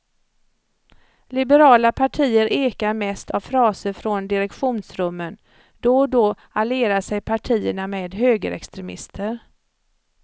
Liberala partier ekar mest av fraser från direktionsrummen, då och då allierar sig partierna med högerextremister.